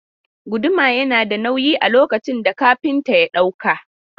Guduma yana da nauyi a lokacin da kafinta ya ɗauka.